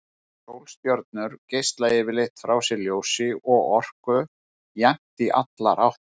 Sólstjörnur geisla yfirleitt frá sér ljósi og orku jafnt í allar áttir.